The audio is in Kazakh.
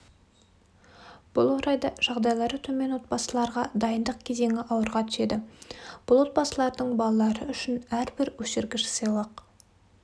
бұл орайда жағдайлары төмен отбасыларға дайындық кезеңі ауырға түседі бұл отбасылардың балалары үшін әрбір өшіргіш сыйлық